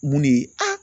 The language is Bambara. Mun de ye a